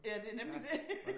Ja det er nemlig det